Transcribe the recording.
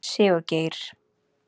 Sigurgeir